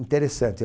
Interessante,